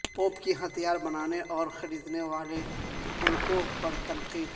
pope کی ہتھیار بنانے اور خریدنے والے ملکوں پر تنقید